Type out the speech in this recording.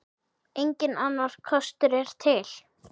Enginn annar kostur er til.